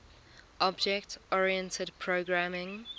object oriented programming